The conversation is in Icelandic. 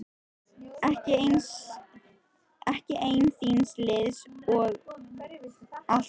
Ekki einn þíns liðs einsog aldan á þurru landi.